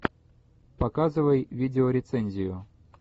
показывай видеорецензию